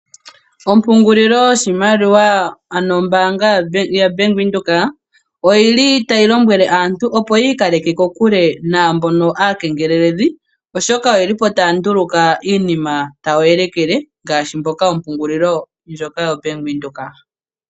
Ompungulilo yoshimaliwa ano ombaanga yavenduka oyili tayi lombwele aantu yi ikaleke kokule naambono aakengeleledhi ,oshoka oyeli taya nduluka iinima tayi elekele iinima ngaashi yombaanga yaVenduka.